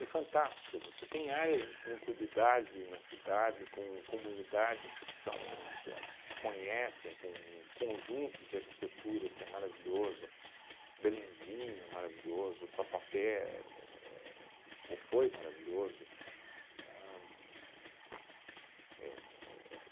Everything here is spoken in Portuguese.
É fantástica, você tem áreas tranquilidade na cidade, com comunidades que são que elas se conhecem, com um conjunto de arquitetura que é maravilhoso, Belenzinho é maravilhoso, Tatuapé éh ou foi maravilhoso. Ahn pu é é